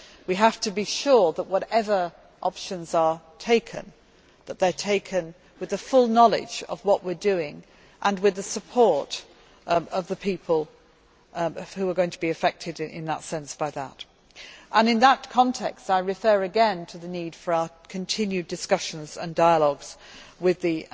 We have to be sure that whatever options are taken, they are taken with the full knowledge of what we are doing and with the support of the people who are going to be affected by that. In that context, I refer again to the need for our continued discussions and dialogues with the